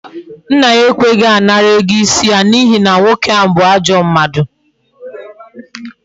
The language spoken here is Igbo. Nna ya ekweghi anara ego isi ya n'ihi na nwoke ahu bu ajo mmadu